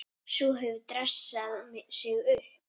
Sú hefur dressað sig upp!